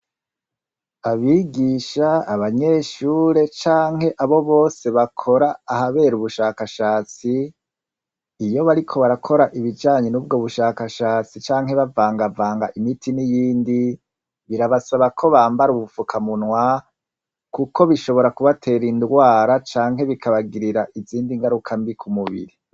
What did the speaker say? Abigisha abanyeshure canke abo bose bakora ahabera ubushakashatsi iyo bariko barakora ibijanye nubushakashatsi canke bavangavanga imiti niyindi birabasaba ko bambara ubufukamunwa kuko bishobora kubatera indwara canke bikabagirira izindi ngarukambi kumubiri